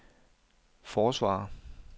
forsvarer